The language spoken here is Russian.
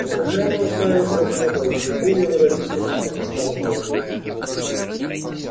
он упрямо уставился в небо и ещё более выразительно покачал головой